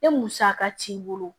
Ni musaka t'i bolo